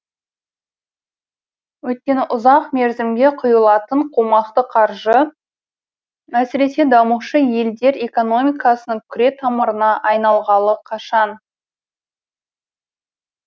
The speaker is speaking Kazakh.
өйткені ұзақ мерзімге құйылатын қомақты қаржы әсіресе дамушы елдер экономикасының күретамырына айналғалы қашан